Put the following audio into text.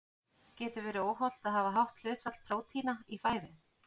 Getur verið óhollt að hafa hátt hlutfall prótína í fæðu?